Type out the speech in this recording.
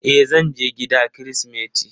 E, zan je gida kirismeti.